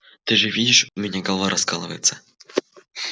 ты же видишь у меня голова раскалывается